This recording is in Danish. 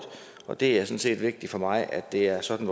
og det er sådan set vigtigt for mig at det er sådan